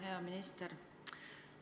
Hea minister!